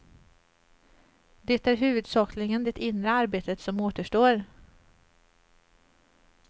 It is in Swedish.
Det är huvudsakligen det inre arbetet som återstår.